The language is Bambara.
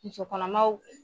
Musɔ kɔnɔmaw